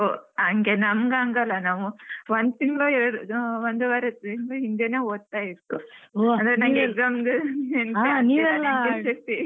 ಹೊ ಹಂಗೆ ನಮ್ಗೆ ಹಂಗ್ ಅಲ್ಲ ನಮ್~ ಒಂದು ತಿಂಗ್ಳು ಎರ್ಡ್~ ಒಂದುವರೆ ತಿಂಗ್ಳು ಹಿಂದೇನೆ ಓದುತ್ತಾ ಇತ್ತು exam ಗ್ .